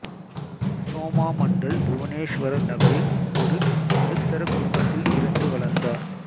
சோமா மண்டல் புவனேசுவர் நகரில் ஒரு நடுத்தர குடும்பத்தில் பிறந்து வளர்ந்தார்